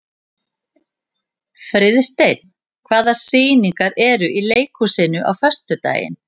Friðsteinn, hvaða sýningar eru í leikhúsinu á föstudaginn?